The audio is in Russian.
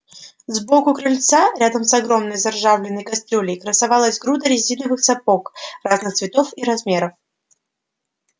сбоку крыльца рядом с огромной заржавленной кастрюлей красовалась груда резиновых сапог разных цветов и размеров